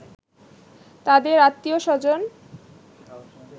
তাদের আত্মীয়স্বজন